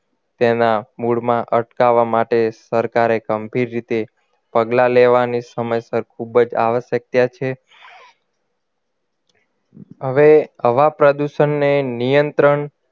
તેના મૂળમાં અટકાવવા માટે સરકારે ગંભીર રીતે પગલાં લેવાની સમયસર ખૂબ જ આવશ્યકતા છે હવે હવા પ્રદુષણને નિયંત્રણ